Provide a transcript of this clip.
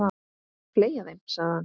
Fleygja þeim, sagði hann.